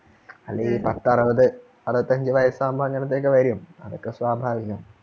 അല്ല ഈ പത്തു അറുപത് അറുപത്തഞ്ജ്‌ വയസ്സ് ആകുമ്പോഴത്തേക് അങ്ങനെയൊക്കെ വരും അതൊക്കെ സ്വാഭാവികം